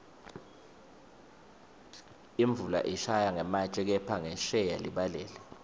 imvula ishaya ngematje kepha ngensheya libalele